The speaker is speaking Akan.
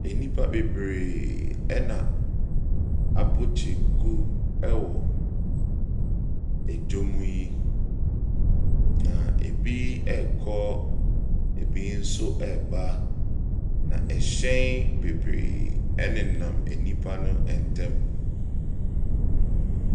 Nnipa bebree na abɔ kyenku wɔ dwam yi, na ebi rekɔ, ebi nso reba, na hyɛn bebree nenam nnipa no ntam.